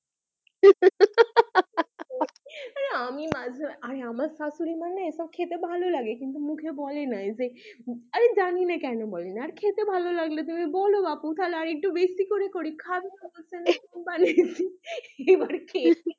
আরে আমি মাঝে আরে আমার শাশুড়ি মানে এসব খেতে ভালোলাগে কিন্তু মুখে বলে নাই যে আরে জানি না কেন বলে নাই? আর খেতে ভালো লাগলে তুমি বলো বাপু তাহলে আর একটু করি খাবে বানিয়েছি এবার খেয়েছে,